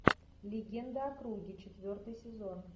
легенда о круге четвертый сезон